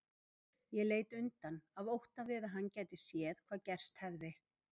Ég leit undan af ótta við að hann gæti séð hvað gerst hefði.